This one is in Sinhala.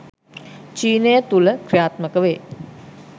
චීනය තුළ ක්‍රියාත්මක වේ.